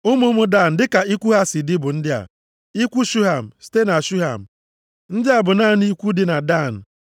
Ụmụ ụmụ Dan dịka ikwu ha si dị bụ ndị a: ikwu Shuham, site na Shuham. Ndị a bụ naanị ikwu dị na Dan.